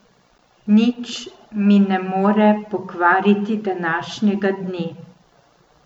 Nič mi ne more pokvariti današnjega dne.